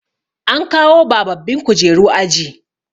an kawo bababbin kujeru a aji